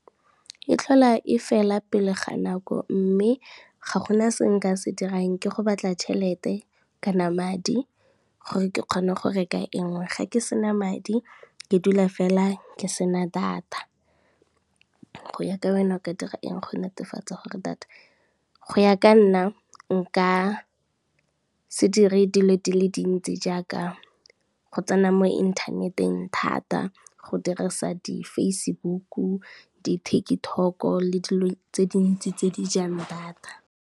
E tlhola e fela pele ga nako mme ga gona se nka se dirang ke go batla tšhelete kana madi, gore ke kgone go reka e ngwe ga ke sena madi ke dula fela ke sena data. Go ya ka nna nka se dire dilo di le dintsi jaaka go tsena mo inthaneteng thata go dirisa di-Facebook-u, di-Tiktok-o le dilo tse dintsi tse di jang data.